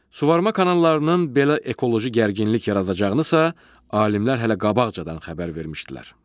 Suvarma kanallarının belə ekoloji gərginlik yaradacağınısa alimlər hələ qabaqcadan xəbər vermişdilər.